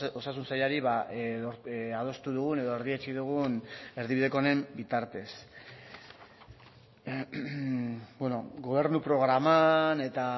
osasun sailari adostu dugun edo erdietsi dugun erdibideko honen bitartez gobernu programan eta